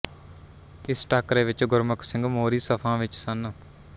ਇਸ ਟਾਕਰੇ ਵਿੱਚ ਗੁਰਮੁੱਖ ਸਿੰਘ ਮੋਹਰੀ ਸਫ਼ਾਂ ਵਿੱਚ ਸਨ